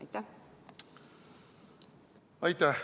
Aitäh!